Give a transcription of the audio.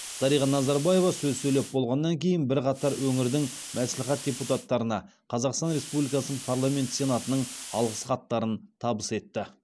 дариға назарбаева сөз сөйлеп болғаннан кейін бірқатар өңірдің мәслихат депутаттарына қазақстан республикасының парламенті сенатының алғыс хаттарын табыс етті